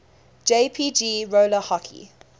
jpg roller hockey